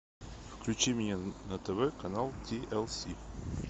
включи мне на тв канал ти эл си